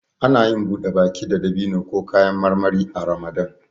Anayin buɗe baki da dabino ko kayan marmari a ramadan